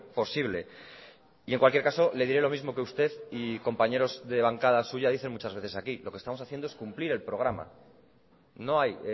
posible y en cualquier caso le diré lo mismo que usted y compañeros de bancada suya dicen muchas veces aquí lo que estamos haciendo es cumplir el programa no hay